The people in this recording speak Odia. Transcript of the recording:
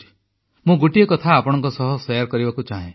ମୁଁ ଗୋଟିଏ କଥା ଆପଣଙ୍କ ସହ ଶେୟାର କରିବାକୁ ଚାହେଁ